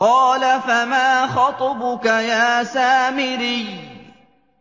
قَالَ فَمَا خَطْبُكَ يَا سَامِرِيُّ